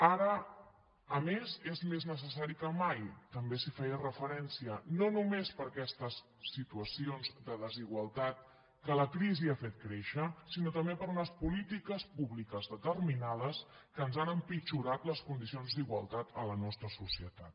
ara a més és més necessari que mai també s’hi feia referència no només per aquestes situacions de desigualtat que la crisi ha fet créixer sinó també per unes polítiques públiques determinades que ens han empitjorat les condicions d’igualtat a la nostra societat